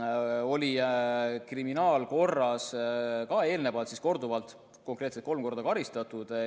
Teda oli kriminaalkorras korduvalt, konkreetselt kolm korda karistatud.